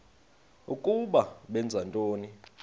ukuba benza ntoni